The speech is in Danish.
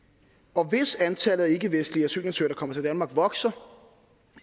og hvis antallet af ikkevestlige asylansøgere der kommer til danmark vokser